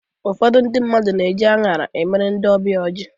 Ụfọdụ ndị mmadụ na-eji anyara e mere ndị ọbịa ha ọjị